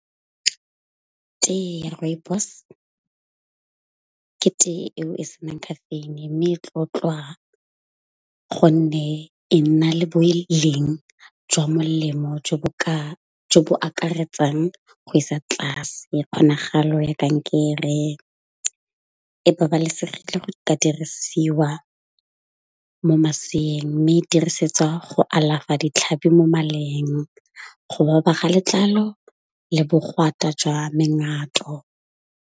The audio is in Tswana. Tee ya Rooibos ke tee eo e senang caffeine. Mme e tlotlwa gonne e na le boleng jwa molemo jo bo ka jo bo akaretsang go isa tlase. E kgonagalo ya kankere e babalesegile go ka dirisiwa mo maseyeng. Mme e dirisetswa go alafa ditlhabi mo maleng, go baba ga letlalo le bogwata jwa mengwato.